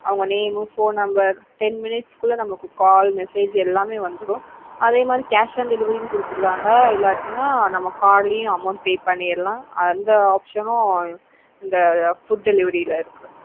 அவங்க name, phone number, ten minutes குள்ள நமக்கு call message எல்லாமே வந்ததும் அதே மாதிரி cash on delivery குடுத்துருவாங்க இல்லன்னா நம்ம card லையும் amount pay பண்ணிடலாம் அந்த option உம் இந்த food delivery ல இருக்கு.